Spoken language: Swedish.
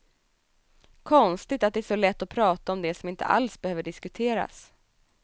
Konstigt att det är så lätt att prata om det som inte alls behöver diskuteras.